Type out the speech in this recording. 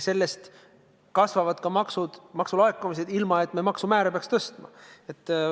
Sellest kasvavad ka laekumised, ilma et me maksumäärasid peaks tõstma.